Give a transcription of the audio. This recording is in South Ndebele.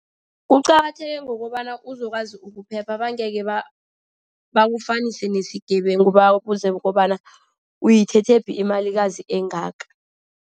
Kuqakatheke ngokobana uzokwazi ukuphepha bangekhebakufunise nesigebengu. Babuze kobana uyithethephi imalikazi engaka.